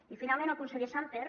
i finalment al conseller sàmper